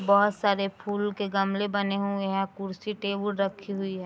बोहोत सारे फूल के गमले बने हुए हैं कुर्सी-टेबुल रखी हुई है।